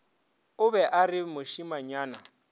o be a re mošemanyana